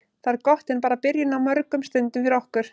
Það er gott en bara byrjun á mörgum stundum fyrir okkur.